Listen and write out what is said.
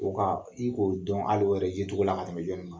O I Ko dɔn ali o yɛrɛ ye togo la ka tɛmɛɛ jɔnni kan